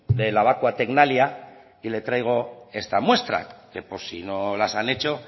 de labaqua tecnalia y le traigo esta muestra que por si no las han hecho